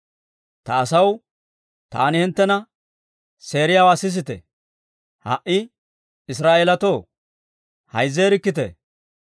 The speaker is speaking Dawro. Ta asaw, taani hinttena seeriyaawaa sisite; ha"i Israa'eelatoo, hayzzeerikkite!